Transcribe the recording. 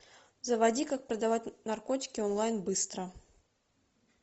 заводи как продавать наркотики онлайн быстро